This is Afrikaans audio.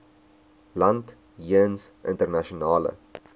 land jeens internasionale